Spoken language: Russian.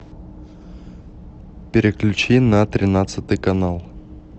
переключи на тринадцатый канал